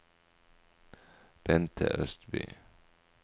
Bente Østby